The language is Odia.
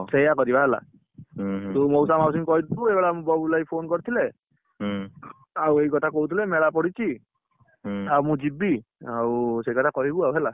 ସେଇଆ କରିବା ହେଲା, ତୁ ମଉସା ମାଉସୀ ଙ୍କୁ କହିଥିବୁ ଏଇ ବେଳ ବବୁଲ ଭାଇ phone କରିଥିଲେ ଆଉ ଏଇ କଥା କହୁଥିଲେ ମେଳା ପଡିଛି। ଆଉ ମୁ ଯିବି, ଆଉ ସେଇକଥା କହିବୁ ଆଉ ହେଲା।